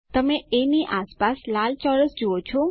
તમે એ ની આસપાસ લાલ ચોરસ જુઓ છો